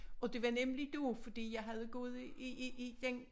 Og det var nemlig det fordi jeg havde gået i i i den